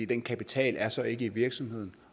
den kapital er så ikke i virksomheden